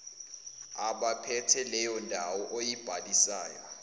abaphethe leyondawo oyibhalisayo